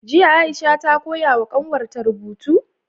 Jiya aisha ta koyawa kanwarta rubutu?